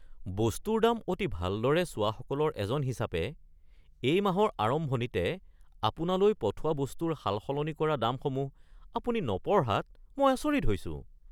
বস্তুৰ দাম অতি ভালদৰে চোৱাসকলৰ এজন হিচাপে এই মাহৰ আৰম্ভণিতে আপোনালৈ পঠোৱা বস্তুৰ সালসলনি কৰা দামসমূহ আপুনি নপঢ়াত মই আচৰিত হৈছোঁ।